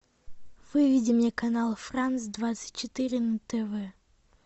выведи мне канал франц двадцать четыре на тв